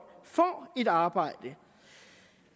får et arbejde